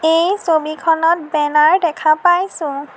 এই ছবিখনত বেনাৰ দেখা পাইছোঁ।